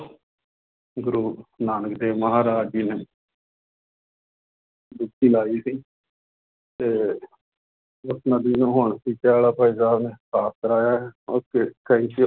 ਗੁਰੂ ਨਾਨਕ ਦੇਵ ਮਹਾਰਾਜ ਜੀ ਨੇ ਡੁਬਕੀ ਲਾਈ ਸੀ ਤੇ ਸਾਫ਼ ਕਰਵਾਇਆ ਹੈ okay thank you